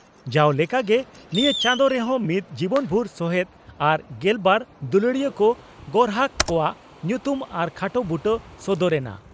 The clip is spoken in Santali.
ᱡᱟᱣ ᱞᱮᱠᱟᱜᱮ ᱱᱤᱭᱟᱹ ᱪᱟᱸᱫᱚ ᱨᱮᱦᱚᱸ ᱢᱤᱫ ᱡᱤᱵᱚᱱᱵᱷᱩᱨ ᱥᱚᱦᱮᱛ ᱟᱨ ᱜᱮᱞᱵᱟᱨ ᱫᱩᱞᱟᱹᱲᱤᱭᱟᱹ ᱠᱚ ᱜᱚᱨᱦᱟᱠ ᱠᱚᱣᱟᱜ ᱧᱩᱛᱩᱢ ᱟᱨ ᱠᱷᱟᱴᱚ ᱵᱩᱴᱟᱹ ᱥᱚᱫᱚᱨ ᱮᱱᱟ ᱾